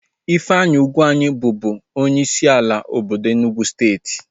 Ifeanyi Ugwuanyi bubu onyeisi obodo Enugwu steeti